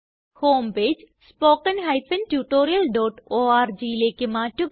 home page spoken tutorialorgലേയ്ക്ക് മാററുക